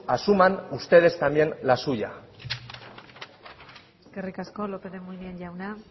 asuman ustedes también la suya eskerrik asko lópez de munain jauna